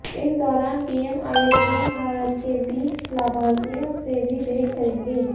इस दौरान पीएम आयुष्मान भारत के बीस लाभार्थियों से भी भेंट करेंगे